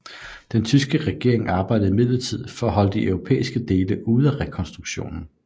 Den tyske regering arbejdede imidlertid for at holde de europæiske dele ude af rekonstruktionen